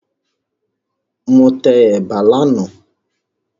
Mo tẹ ẹ̀bà lánàá